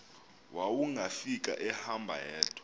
wawungafika ehamba yedwa